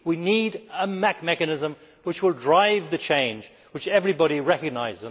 We need a mechanism which will drive the change which everybody recognises.